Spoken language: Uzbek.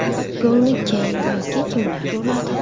Golni kim yoki kimlar uradi?